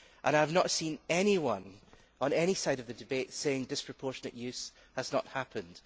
I have not seen anyone on any side of the debate saying disproportionate use has not happened.